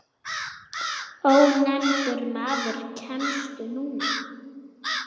Ónefndur maður: Kemstu núna?